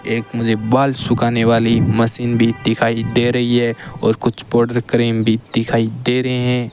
एक मुझे बाल सुखाने वाली मशीन भी दिखाई दे रही है और कुछ पाउडर क्रीम भी दिखाई दे रहे हैं।